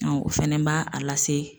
o fɛnɛ b'a a lase